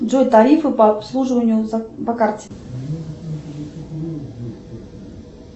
джой тарифы по обслуживанию по карте